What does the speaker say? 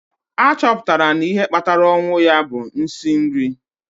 a chọpụtara na ihe kpatara ọnwụ ya bụ nsị nri